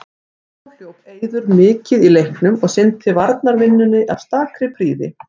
Þá hljóp Eiður mikið í leiknum og sinnti varnarvinnunni af stakri prýði.